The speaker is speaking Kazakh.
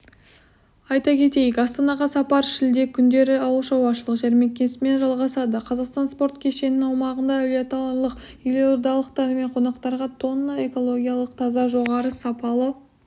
айта кетейік астанаға сапар шілде күндері ауылшаруашылық жәрмеңкесімен жалғасады қазақстан спорткешенінің аумағында әулиеаталықтар елордалықтар мен қонақтарға тонна экологиялық таза жоғары сапалы